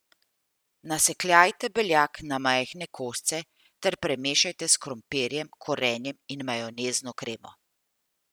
Nasekljajte beljak na majhne kose ter premešajte s krompirjem, korenjem in majonezno kremo.